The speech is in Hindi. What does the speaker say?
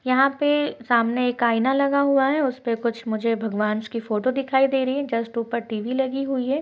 यहाँ पे सामने एक आईना लगा हुआ है। उसपे कुछ मुझे भगवान्स की फोटो दिखायी दे रही हैं। जस्ट ऊपर टीवी लगी हुई है।